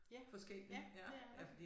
Ja ja det er der